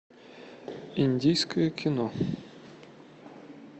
индийское кино